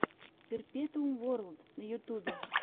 перпетуум ворлд на ютубе